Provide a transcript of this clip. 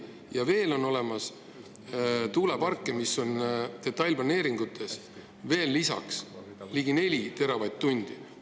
Ja veel on olemas detailplaneeringutes olevad tuulepargid ligi 4 teravatt-tundi.